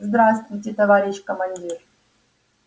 здравствуйте товарищ командир